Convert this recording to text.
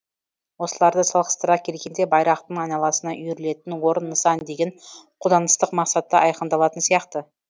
осыларды салғастыра келгенде байрақтың айналасына үйірілетін орын нысан деген қолданыстық мақсаты айқындалатын сияқты